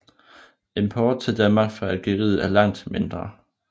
Import til Danmark fra Algeriet er langt mindre